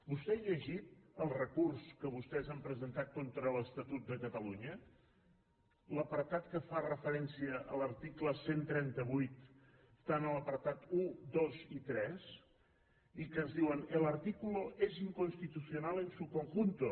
vostè ha llegit el recurs que vostès han presentat contra l’estatut de catalunya l’apartat que fa referència a l’article cent i trenta vuit està en l’apartat un dos i tres i que ens diuen el artículo es inconstitucional en su conjunto